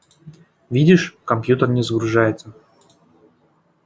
видишь компьютер не загружается